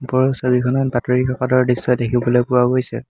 ওপৰৰ ছবিখনত বাতৰি কাকতৰ দৃশ্য দেখিবলৈ পোৱা গৈছে।